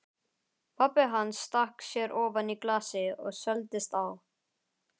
Pabbi hans stakk sér ofan í glasið og svelgdist á.